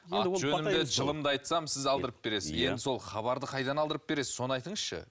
аты жөнімді жылымды айтсам сіз алдырып бересіз енді сол хабарды қайдан алдырып бересіз соны айтыңызшы